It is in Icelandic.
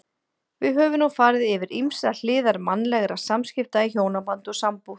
Við höfum nú farið yfir ýmsar hliðar mannlegra samskipta í hjónabandi og sambúð.